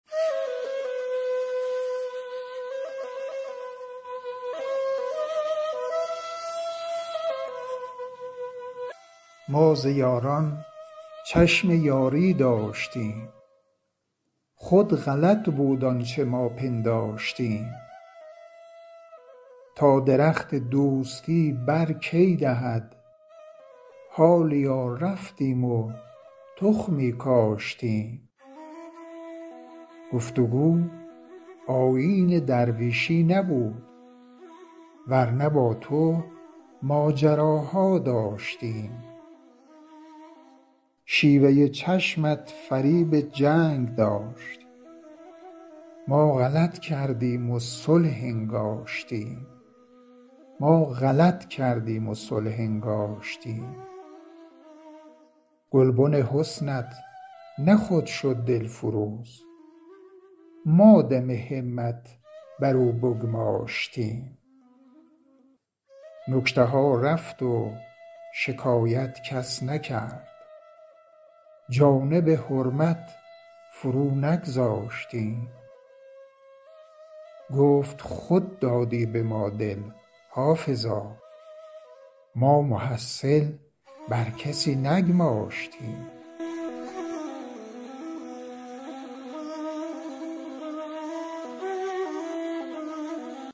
ما ز یاران چشم یاری داشتیم خود غلط بود آنچه ما پنداشتیم تا درخت دوستی بر کی دهد حالیا رفتیم و تخمی کاشتیم گفت و گو آیین درویشی نبود ور نه با تو ماجراها داشتیم شیوه چشمت فریب جنگ داشت ما غلط کردیم و صلح انگاشتیم گلبن حسنت نه خود شد دلفروز ما دم همت بر او بگماشتیم نکته ها رفت و شکایت کس نکرد جانب حرمت فرو نگذاشتیم گفت خود دادی به ما دل حافظا ما محصل بر کسی نگماشتیم